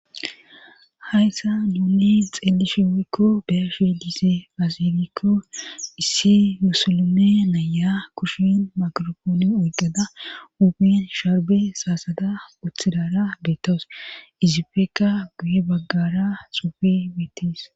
hayssa nuunni xeelishi woykko beeshi diise azifikko issi musulme naya kushin makiropooni oyqeda upin sharbe saasada puthidara beettowus izipeka guye baggara xuufi mittis